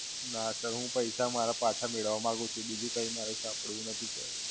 ના Sir, હું પૈસા મારા પાછા મેળવવા માંગુ છું. બીજું કઈ મારે સાંભળવું નથી Sir